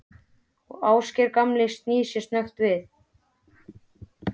Og Ásgeir gamli snýr sér snöggt við.